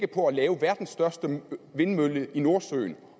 på at lave verdens største vindmølle i nordsøen